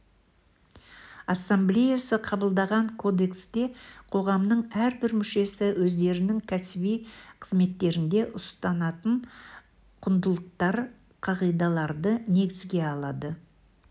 ассамблеясы қабылдаған кодексте қоғамның әрбір мүшесі өздерінің кәсіби қызметтерінде ұстанатын құндылықтар қағидаларды негізге алады